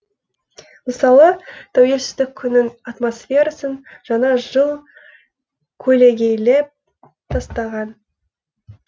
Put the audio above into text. мысалы тәуелсіздік күнін атмосферасын жаңа жыл көлегейлеп тастаған